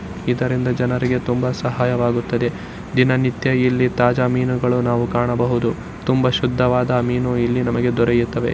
ಇದರಿಂದ ಜನರಿಗೆ ತುಂಬಾ ಸಹಾಯವಾಗುತ್ತದೆ. ದಿನನಿತ್ಯ ಇಲ್ಲಿ ತಾಜಾ ಮೀನುಗಳನ್ನು ನಾವು ಕಾಣಬಹುದು. ತುಂಬಾ ಶುದ್ಧವಾದ ಮೀನು ಎಲ್ಲಿ ನಮಗೆ ದೊರೆಯುತ್ತವೆ.